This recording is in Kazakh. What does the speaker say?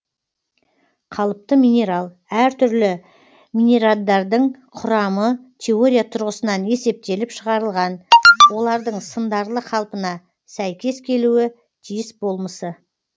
қалыпты минерал әр түрлі минераддардың құрамы теория тұрғысынан есептеліп шығарылған олардың сындарлы қалпына сәйкес келуі тиіс болмысы